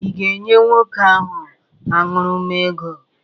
Ị ga-enye nwoke ahụ aṅụrụma ego?